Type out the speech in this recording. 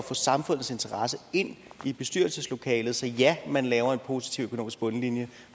få samfundets interesser ind i bestyrelseslokalet på så ja man laver en positiv økonomisk bundlinje